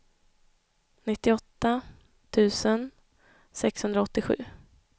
nittioåtta tusen sexhundraåttiosju